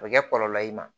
A bɛ kɛ kɔlɔlɔ ye i ma